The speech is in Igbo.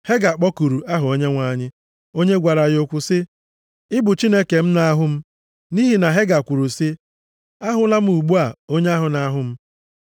Hega kpọkuru aha Onyenwe anyị, onye gwara ya okwu sị, “Ị bụ Chineke m na-ahụ m.” Nʼihi na Hega kwuru sị, “Ahụla m, ugbu a, onye ahụ na-ahụ m.”